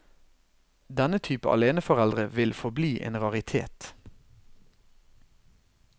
Denne type aleneforeldre vil forbli en raritet.